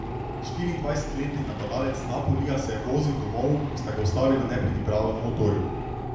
Štiriindvajsetletni napadalec Napolija se je vozil domov, ko sta ga ustavila nepridiprava na motorju.